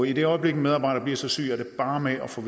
i det øjeblik en medarbejder bliver så syg er det bare med at få